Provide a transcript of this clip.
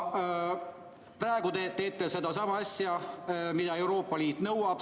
Praegu te teete seda asja, mida Euroopa Liit nõuab.